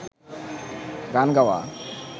গান গাওয়া